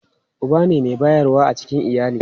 Uba ne mai bayarwa a cikin iyali.